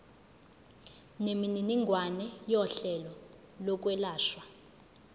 nemininingwane yohlelo lokwelashwa